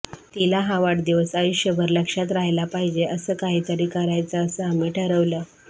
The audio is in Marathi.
तिला हा वाढदिवस आयुष्यभर लक्षात राहिला पाहिजे असं काहीतरी करायचं असं आम्ही ठरवलं